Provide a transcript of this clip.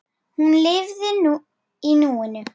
Hún lifði í núinu.